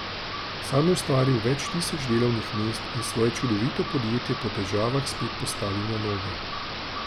Sam je ustvaril več tisoč delovnih mest in svoje čudovito podjetje po težavah spet postavil na noge.